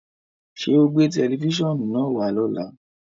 Ṣẹ́ o gbẹ̀ tẹlifísiọ́nù naá wà lọ́lá?